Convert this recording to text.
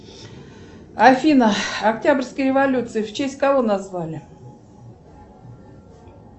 афина октябрьская революция в честь кого назвали